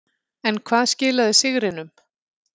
En hvað skilaði sigrinum.